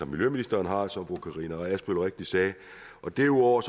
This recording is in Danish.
miljøministeren som fru karina adsbøl rigtigt sagde derudover